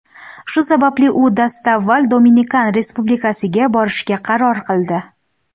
Shu sababli u dastavval Dominikan Respublikasiga borishga qaror qildi.